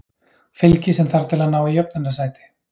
Fylgi sem þarf til að ná í jöfnunarsæti